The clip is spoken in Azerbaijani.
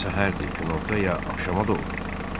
Səhərdir, günorta ya axşama doğru.